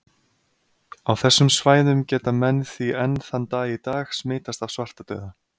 Á þessum svæðum geta menn því enn þann dag í dag smitast af svartadauða.